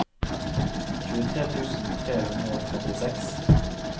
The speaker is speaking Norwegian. tjuetre tusen tre hundre og trettiseks